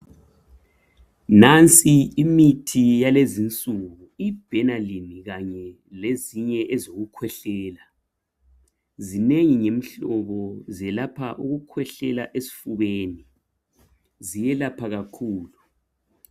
Nansi imithi yalezinsuku iBenylin Kanye lezinye ezokukhwehlela. Zinengi imihlobo zelapha ukukhwehlela esifubeni. Ziyelapha kakhulu.